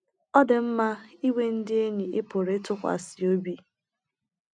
Ọ dị mma inwe ndị enyi ị pụrụ ịtụkwasị obi.